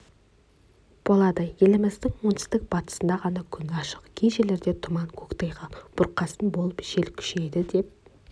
болады еліміздің оңтүстік-батысында ғана күн ашық кей жерлерде тұман көктайғақ бұрқасын болып жел күшейеді деп